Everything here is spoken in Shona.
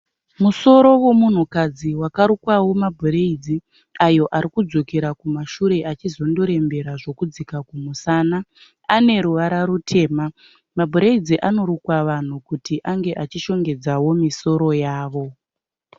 Musoro wemunhukadzi wakarukwawo mabhureidzi ayo arikudzokera kumashure achizondorembera zvekudzika kumusana. Aneruvara rutema. Mabhureidzi anorukwa vanhu kuti ange achishongedzawo misoro yavo.